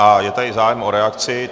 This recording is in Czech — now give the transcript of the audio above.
A je tady zájem o reakci.